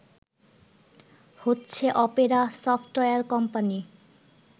হচ্ছে Opera software company